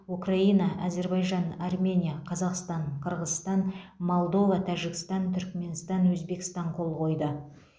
украина әзербайжан армения қазақстан қырғызстан молдова тәжікстан түрікменстан өзбекстан қол қойды